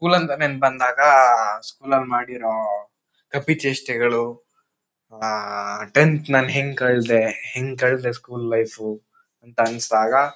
ಬಂದಾಗ ಸ್ಕೂಲ್ ಅಲ್ಲಿ ಮಾಡಿರೋ ಕಪಿ ಚೇಷ್ಟೇಗಳು ಆಹ್ ಟೆಂತ್ನಲ್ಲಿ ಹೆಂಗ್ ಕಳ್ದೆ ಹೆಂಗ್ ಕಳ್ದೆ ಸ್ಕೂಲ್ ಲೈಫ್ ಅಂತ ಅನ್ನಸದಾಗ--